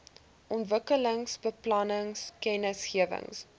ontwikkelingsbeplanningkennisgewings